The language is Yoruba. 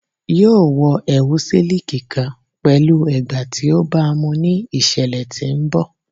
Yoo wọ ẹwu siliki kan pẹlu ẹgba ti o baamu ni iṣẹlẹ ti n bọ